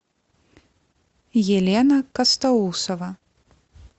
елена костоусова